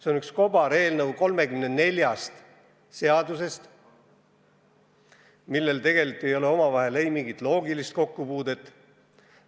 See on kobareelnõu 34 seadusest, millel tegelikult ei ole omavahel mingit loogilist kokkupuudet.